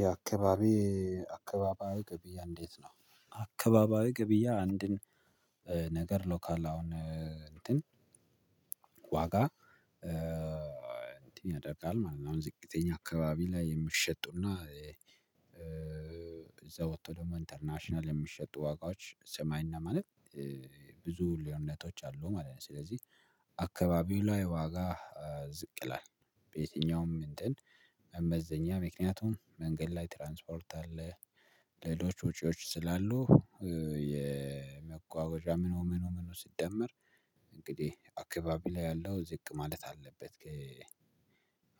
የአካባቢ አካባቢያዊ ገብያ እንዴት? ነው አካባቢያዊ ገብያ አንድን ነገር ሎካል አሁን እንትን ዋጋ እንትን ያደርጋል ማለት ነው። አሁን ዝቅተኛ አካባቢ ላይ የምትሸጡና እዛ ወጥቶ ደግሞ ኢንተርናሽናል የሚሸጡ ዋጋዎች ሰማይና ማለት ብዙ ልዩነቶች አሉ ማለት ነው። ስለዚህ አካባቢው ላይ ዋጋ ዝቅ ይላል በየትኛውም እንትን መመዘኛ ምክንያቱም መንገድ ላይ ትራንስፖርት አለ ሌሎች ወጪዎች ስላሉ የመጓጓዣ ምኑ ምኑ ምኑ ሲደመር እንግዲህ አካባቢ ላይ ያለው ዝቅ ማለት አለበት።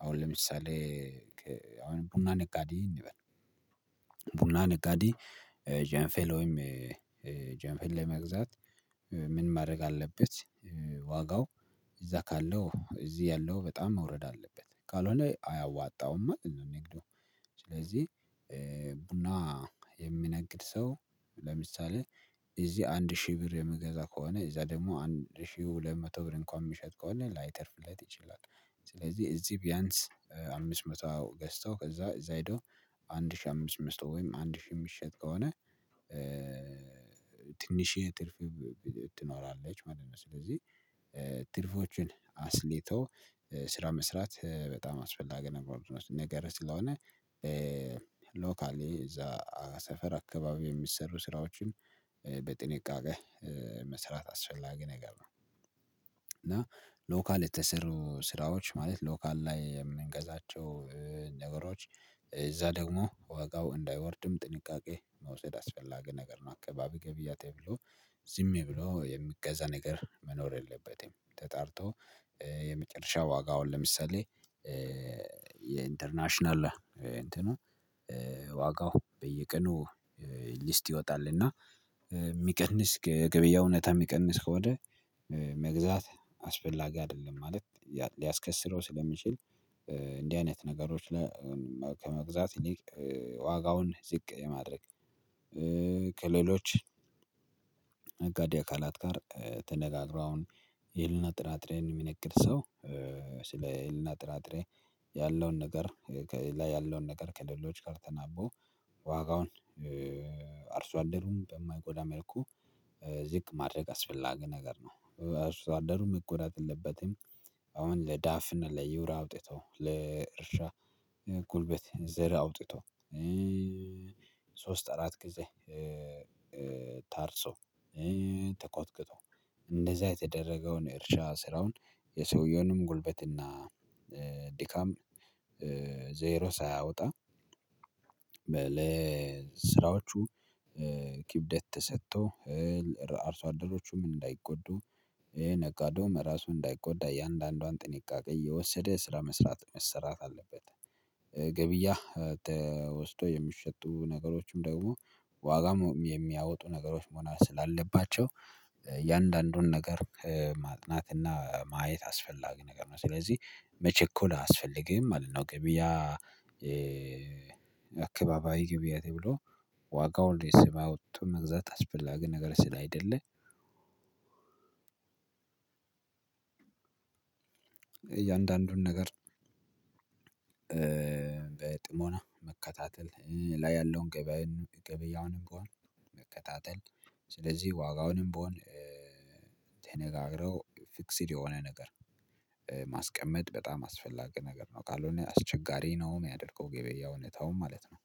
አሁን ለምሳሌ አሁን ቡና ነጋዴ እንበል ቡና ነጋዴ ጃንፌሎም ጃንፌል ለመግዛት ምን ማድረግ አለበት ዋጋው እዛ ካለው እዚህ ያለው በጣም መውረድ አለበት ካልሆነ አያዋጣውም። አይደለም ነግዶ ስለዚህ ቡና የሚነግድ ሰው ለምሳሌ እዚህ አንድ ሺህ ብር የምገዛ ከሆነ እዛ ደግሞ አንድ ሺህ ሁለት መቶ ብር እንኳን የሚሸጥ ከሆነ ላይተርፍለት ይችላል። ስለዚህ እዚህ ቢያንስ አምስት መቶ ገዝተው ከዛ እዛ ሄደው አንድ ሺህ አምስት አምስት ወይም አንድ ሺህ የሚሸጥ ከሆነ ትንሽዬ ትርፍ ትኖራለች ማለት ነው። ስለዚህ ትርፎችን አስልቶ ስራ መስራት በጣም አስፈላጊ ነገር ነገር ስለሆነ ሎካሊ እዛ ሰፈር አካባቢ የሚሰሩ ስራዎችን በጥንቃቄ መስራት አስፈላጊ ነገር ነው። እና ሎካል የተሰሩ ስራዎች ማለት ሎካል ላይ የምንገዛቸው ነገሮች እዛ ደግሞ ወጋው እንዳይወርድም ጥንቃቄ መውሰድ አስፈላጊ ነገር ነው። አካባቢ ገብያ ተብሎ ዝም ብሎ የሚገዛ ነገር መኖር የለበትም። ተጣርቶ የመጨረሻ ዋጋውን ለምሳሌ የኢንተርናሽናል እንትኑ ዋጋው በየቀኑ ሊስት ይወጣል እና የሚቀንስ ገበያ እውነት የሚቀንስ ከሆነ መግዛት አስፈላጊ አይደለም። ማለት ሊያስከስረው ስለሚችል እንዲህ አይነት ነገሮች ላይ ከመግዛት ዋጋውን ዝቅ የማድረግ ከሌሎች ነጋዴ አካላት ጋር ተነጋግሮ አሁን የልና ጥራጥሬን የሚነግር ሰው ስለ የልና ጥራጥሬ ያለውን ነገር ላይ ያለውን ነገር ከሌሎች ጋር ተናቦ ዋጋውን አርሶ አንደሩም በማይጎዳ መልኩ ዝቅ ማድረግ አስፈላጊ ነገር ነው። አስተዋደሩም መጎዳት የለበትም። አሁን ለዳፍን ለዩራ አውጥቶ ለእርሻ ጉልበት ዘር አውጥቶ ሶስት አራት ጊዜ ታርሶ ተኮትክቶ እንደዛ የተደረገውን እርሻ ስራውን የሰውየውንም ጉልበትና ድካም ዘይሮ ሳያወጣ ለስራዎቹ ኪብደት ተሰጥቶ አርሶ አደሮቹ ምን እንዳይጎዱ ነጋዴውም ራሱ እንዳይጎዳ እያንዳንዷን ጥንቃቄ የወሰደ ስራ መስራት መሰራት አለበት። ገብያ ተወስዶ የሚሸጡ ነገሮችም ደግሞ ዋጋም የሚያወጡ ነገሮች መሆናቸው ስላለባቸው እያንዳንዱን ነገር ማጥናትና ማየት አስፈላጊ ነገር ነው። ስለዚህ መቸኮል አያስፈልግም ማለት ነው። ገቢያ አካባቢ ገብያ ተብሎ ዋጋውን ስማ ወጡ መግዛት አስፈላ ግን ነገር ስላይደለም። እያንዳንዱን ነገር በጥሞና መከታተል ላይ ያለውን ገበያ ገበያውንም በሆነ መከታተል ስለዚህ ዋጋውንም ብሆን ተነጋግረው ፊክሲል የሆነ ነገር ማስቀመጥ በጣም አስፈላጊ ነገር ነው። ካልሆነ አስቸጋሪ ነው የሚያደርገው ገበያውን እውነታውን ማለት ነው።